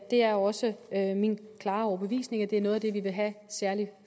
det er også min klare overbevisning at det er noget af det vi vil have særlig